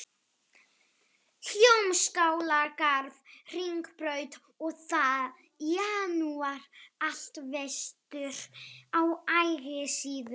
Hljómskálagarð, Hringbraut, og það í janúar, allt vestur á Ægisíðu